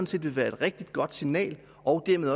set vil være et rigtig godt signal og dermed